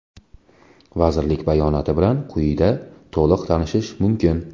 Vazirlik bayonoti bilan quyida to‘liq tanishish mumkin.